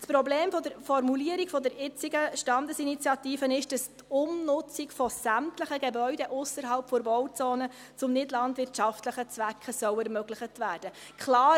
Das Problem der Formulierung der jetzigen Standesinitiative ist, dass die Umnutzung von sämtlichen Gebäuden ausserhalb der Bauzone zu nichtlandwirtschaftlichen Zwecken ermöglicht werden soll.